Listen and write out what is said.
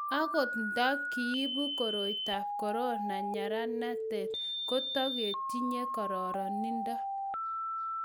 Akot nta kiibu koroitab korona nyeranatet ko tukutinyei kararanindo